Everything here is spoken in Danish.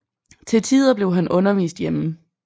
Til tider blev han undervist hjemme